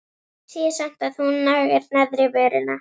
Sé samt að hún nagar neðri vörina.